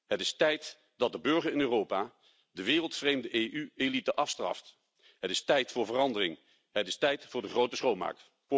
Het is tijd dat de burger in Europa de wereldvreemde EU elite afstraft. Het is tijd voor verandering. Het is tijd voor de grote schoonmaak.